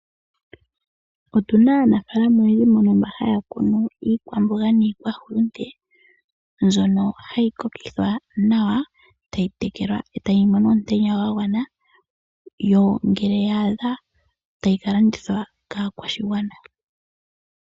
Otuna aanafaalama oyendji mbono mba haya kunu iikwamboga niikwahulute, mbyono hayi kokithwa nawa, tayi tekelwa etayi mono omutenya gwa gwana, yo ngele yaadha tayi ka landithwa kaakwashigwana.